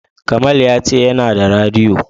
Kamal ya ce yana da radiyo.